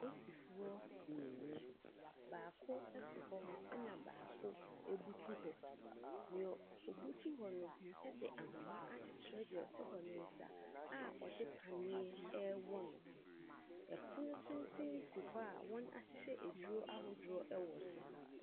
Apolisifoɔ mmienu, baako te hɔ na baako butu hɔ. Deɛ obutu hɔ no de ahoma akyekyere deɛ ɔte hɔ ne nsa a ɔde paneɛ ɛrewɔ no. Pono tenten si hɔ a wɔahyehyɛ aduro ahodoɔ wɔ so.